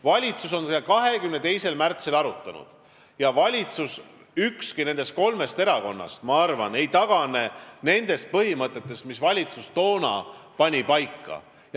Valitsus arutas seda lepet 22. märtsil ja ma arvan, et ükski kolmest valitsuserakonnast ei tagane nendest põhimõtetest, mis valitsus toona paika pani.